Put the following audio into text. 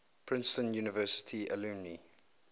princeton university alumni